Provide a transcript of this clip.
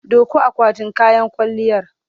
Ɗauko akwatin kayan kwalliyar!